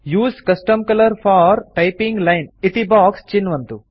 उसे custom colour for typing line इति box चिन्वन्तु